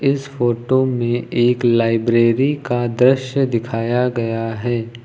इस फोटो में एक लाइब्रेरी का दृश्य दिखाया गया है।